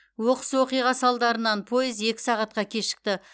оқыс оқиға салдарынан пойыз екі сағатқа кешікті